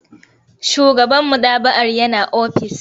Shugaban maɗaba'ar yana ofis.